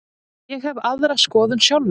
Ég hef aðra skoðun sjálfur.